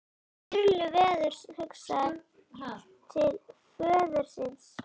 Sturlu verður hugsað til föður síns.